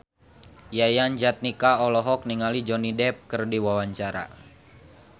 Yayan Jatnika olohok ningali Johnny Depp keur diwawancara